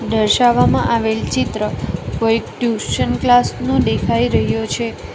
દર્શાવવામાં આવેલ ચિત્ર કોઈક ટ્યુશન ક્લાસ નું દેખાઈ રહ્યો છે.